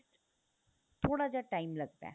ਥੋੜਾ ਜਾ time ਲੱਗਦਾ